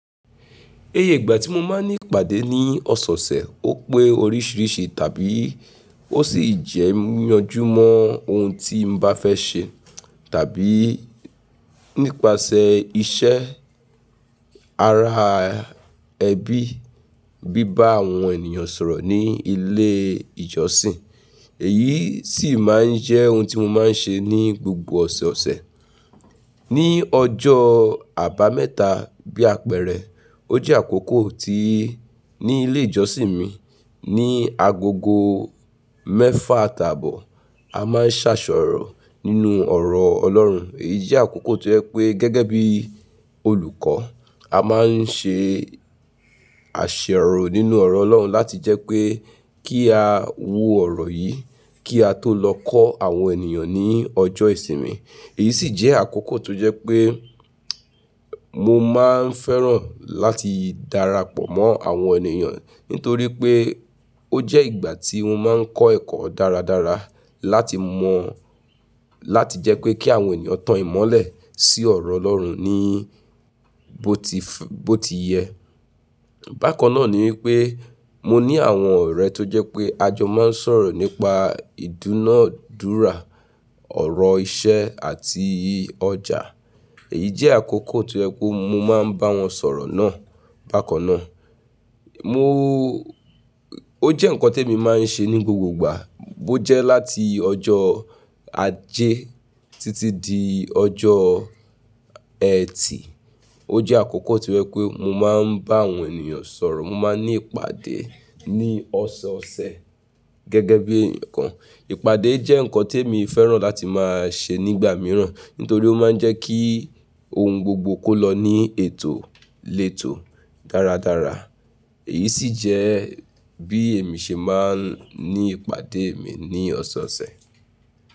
Iyẹ ìgbà tí mo máa ń ní ìpàdé ní ọ̀sẹ̀ẹ̀ ọ̀sẹ̀, ó pé oríṣìíríṣìí tàbí ó sì jẹ́ yanjú mọ́ ohun tí n bá fẹ́ ṣe tàbí nípasẹ̀ iṣẹ́ ara ẹbí, bíbá àwọn ènìyàn sọ̀rọ̀ ní ilé ìjọsìn. Èyí sì máa ń jẹ́ ohun tí mo máa ń ṣe ní gbogbo ọ̀sẹ̀ẹ̀ ọ̀sẹ̀. Ní ọjọ́ àbámẹ́ta bí àpẹẹrẹ, ó jẹ́ àkókò tí ní ilé ìjọsìn mi ní agogo mẹ́fà àtàbọ, a máa ń ṣàsọ̀rọ̀ nínú ọ̀rọ̀ Ọlọ́run. Èyí jẹ́ àkókò tó jẹ́ pé gẹ́gẹ́ bí olùkọ́, a máa ń ṣe àṣero nínú ọ̀rọ̀ Ọlọ́run láti jẹ́ pé kí a wo ọ̀rọ̀ yìí, kí a tó lọ kọ́ àwọn ènìyàn ní ọjọ́ ìsinmi. Èyí sì jẹ́ àkókò tó jẹ́ pé mo máa ń fẹ́ràn láti darapọ̀ mọ́ àwọn ènìyàn nítorí pé ó jẹ́ ìgbà tí mo máa ń kọ́ ẹ̀kọ́ dára dára láti mọ̀ láti jẹ́ pé kí àwọn ènìyàn tan ìmọ́lẹ̀ sí ọ̀rọ̀ Ọlọ́run ní bó ti f-- bó ti yẹ. Bákan náà ni wípé mo ní àwọn ọ̀rẹ́ tó jẹ́ pé a jọ máa ń sọ̀rọ̀ nípa ìdúnadúrà, ọ̀rọ̀ iṣẹ́ àti ọjà. Èyí jẹ́ àkókò tó jẹ́ pé mo máa ń bá wọn sọ̀rọ̀ náà. Bákan náà, mo, ó jẹ́ nǹkan tí èmi máa ń ṣe ní gbogbo ìgbà. Ó jẹ́ láti ọjọ́ Ajé títí di ọjọ́ Ẹtì. Ó jẹ́ àkókò tí je wipé mo máa ń bá àwọn ènìyàn sọ̀rọ̀, mo máa ń ní ìpàdé ní ọ̀sẹ̀ẹ̀ ọ̀sẹ̀ gẹ́gẹ́ bí ǹkan. Ìpàdé jẹ́ nǹkan tí èmi fẹ́ràn láti máa ṣe nígbà mìíràn nítorí ó máa ń jẹ́ kí ohun gbogbo kó lọ ní ètò lètò dára dára. Èyí sì jẹ́ bí èmi ṣe máa ń ní ìpàdé mi ní ọ̀sẹ̀ẹ̀ ọ̀sẹ̀.